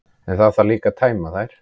En það þarf líka að tæma þær.